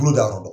Bolo da yɔrɔ dɔn